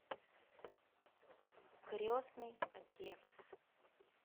крестный отец